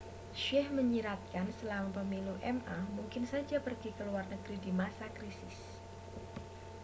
hsieh menyiratkan selama pemilu ma mungkin saja pergi ke luar negeri di masa krisis